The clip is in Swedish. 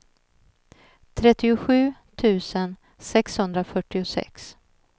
trettiosju tusen sexhundrafyrtiosex